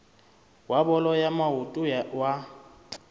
wa bolo ya maoto wa